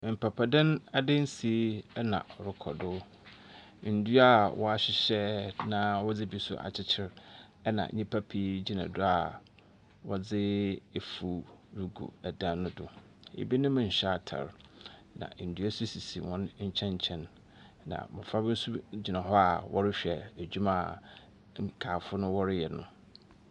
Mpapadan adansie na rekɔdo. Nnua a wɔahyehyɛ na wɔdze bi nso a akyekyer na nnyimpa pii gyina do a wɔdze afu regu dan no do. Ebinom nhyɛ atar. Na dua nso sisi wɔn nkyɛnkyɛn. Na mmofra bi nso gyina wɔrehwɛ adwuma a nkaafo no wɔreyɛ no.